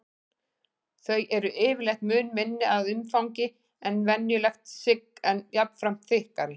Þau eru yfirleitt mun minni að umfangi en venjulegt sigg en jafnframt þykkari.